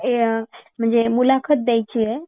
अ मुलाखत द्यायची आहे